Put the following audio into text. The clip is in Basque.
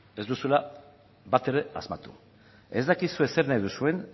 ez duzuela batere asmatu ez dakizue zer nahi duzuen